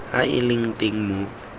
a a leng teng mo